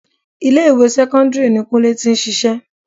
3. Ilé ìwé sẹ́kọ́ńdírì ìjọba ni kúnlé tí ń ṣíṣe.